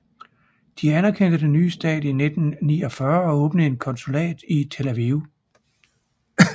De anerkendte den nye stat i 1949 og åbnede et konsulat i Tel Aviv